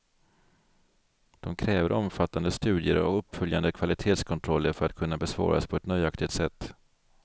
De kräver omfattande studier och uppföljande kvalitetskontroller för att kunna besvaras på ett nöjaktigt sätt.